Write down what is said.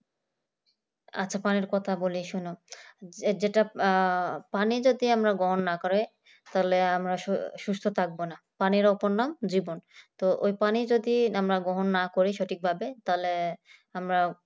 আচ্ছা পানির কথা বলি শোনো যেটা আহ পানি যদি আমরা গ্রহণ না করি তাহলে আমরা সুস্থ সুস্থ থাকব না পানির অপর নাম জীবন ওই পানি যদি আমরা গ্রহণ না করি সঠিকভাবে তাহলেই আমরা